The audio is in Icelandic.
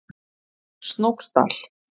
Snóksdal